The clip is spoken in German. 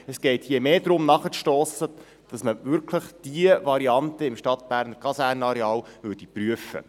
Es geht hier mehr darum, nachzustossen, damit man die Variante im Stadtberner Kasernenareal wirklich prüft.